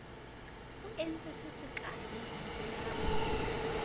o entseng se sekaale ha